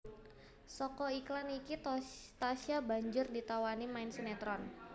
Saka iklan iki Tasya banjur ditawani main sinetron